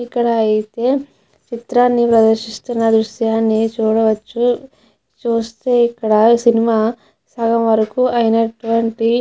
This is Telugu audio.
ఇక్కడ ఇతే చిత్రాన్ని ప్రదర్శిస్తున్న దృశ్యాన్ని చూడవచ్చు చూస్తే ఇక్కడ సినిమా సగం వరకు అయినట్టువంటి.